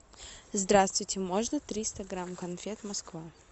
здравствуйте можно триста грамм конфет москва